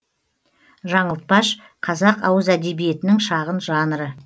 жаңылтпаш қазақ ауыз әдебиетінің шағын жанры